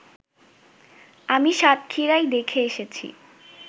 আমি সাতক্ষীরায় দেখে এসেছি